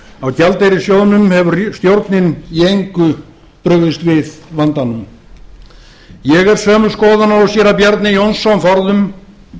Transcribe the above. á gjaldeyrissjóðnum hefur stjórnin í engu brugðist við og er það mikið áhyggjuefni ég er sömu skoðunar og séra bjarni jónsson forðum